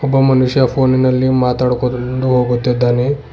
ಒಬ್ಬ ಮನುಷ್ಯ ಫೋನಿ ನಲ್ಲಿ ಮಾತಾಡ್ಕೂತ ಮುಂದ್ ಹೋಗುತ್ತಿದ್ದಾನೆ.